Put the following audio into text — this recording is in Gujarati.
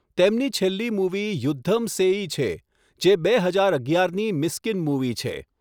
તેમની છેલ્લી મૂવી 'યુદ્ધમ સેઈ' છે, જે બે હજાર અગિયારની મિસ્કીન મૂવી છે.